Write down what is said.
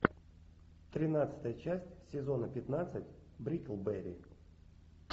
тринадцатая часть сезона пятнадцать бриклберри